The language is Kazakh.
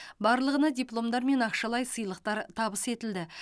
барлығына дипломдар мен ақшалай сыйлықтар табыс етілді